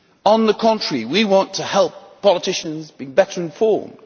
On the contrary, we want to help politicians to be better informed.